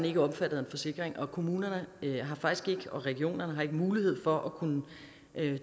ikke omfattet af en forsikring og kommunerne og regionerne har faktisk ikke mulighed for at kunne